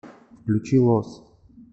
включи лос